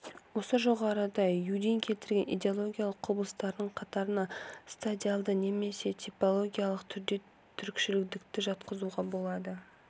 осы жоғарыда юдин келтірген идеологиялық құбылыстардың қатарына стадиалды немесе типологиялық түрде түрікшілдікті де жатқызуға болады